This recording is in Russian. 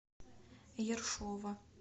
ершова